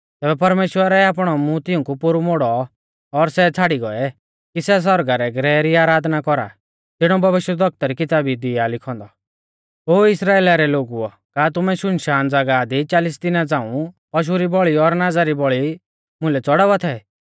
तैबै परमेश्‍वरै आपणौ मूंह तिऊंकु पोरु मोड़ौ और सै छ़ाड़ी गौऐ कि सै सौरगा रै ग्रह री आराधना कौरा ज़िणौ भविष्यवक्ता री किताबी दी आ लिखौ औन्दौ ओ इस्राइला रै लोगुओ का तुमै शुनशान ज़ागाह दी चालिस साला झ़ांऊ पशु री बौल़ी और नाज़ा री बौल़ी मुइलै च़ौड़ावा थै